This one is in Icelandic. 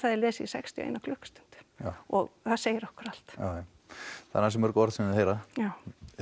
er lesið í sextíu og ein klukkustund og það segir okkur allt jájá það eru ansi mörg orð sem þau heyra já